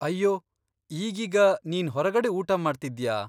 ಅಯ್ಯೋ, ಈಗೀಗ ನಿನ್ ಹೊರಗಡೆ ಊಟಮಾಡ್ತಿದ್ಯಾ?